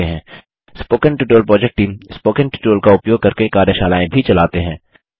spoken tutorial project team spoken tutorial का उपयोग करके कार्यशालाएँ भी चलाते हैं